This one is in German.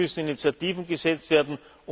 Es müssen Initiativen gesetzt werden!